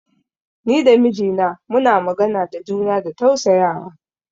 Ni da mijina muna magana da juna da tausayawa.